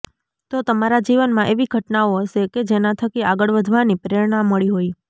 તો તમારા જીવનમાં એવી ઘટનાઓ હશે કે જેનાથકી આગળ વધવાની પ્રેરણા મળી હોય